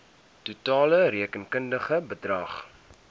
totale rekenkundige bedrag